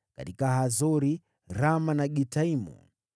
katika Hazori, Rama na Gitaimu,